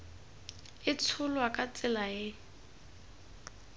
e tsholwa ka tsela e